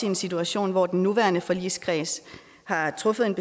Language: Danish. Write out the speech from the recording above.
en situation hvor den nuværende forligskreds har truffet en